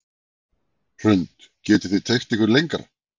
Hrund: Getið þið teygt ykkur lengra?